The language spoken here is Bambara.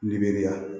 Liberiya